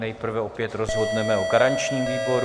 Nejprve opět rozhodneme o garančním výboru.